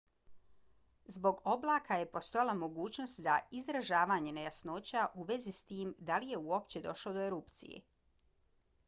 zbog oblaka je postojala mogućnost za izražavanje nejasnoća u vezi s tim da li je uopće došlo do erupcije